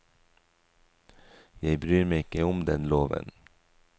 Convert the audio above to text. Jeg bryr meg ikke om den loven.